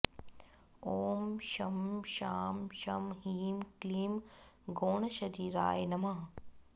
ॐ शं शां षं ह्रीं क्लीं गौणशरीराय नमः